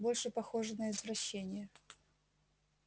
больше похоже на извращение